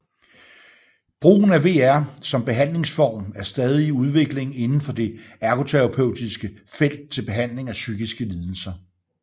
Brugen af VR som behandlingsform er stadig i udvikling inden for det ergoterapeutiske felt til behandling af psykiske lidelser